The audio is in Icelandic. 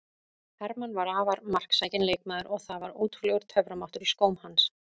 Hermann var afar marksækinn leikmaður og það var ótrúlegur töframáttur í skóm hans.